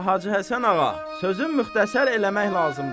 Hacı Həsən Ağa, sözü müxtəsər eləmək lazımdır.